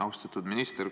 Austatud minister!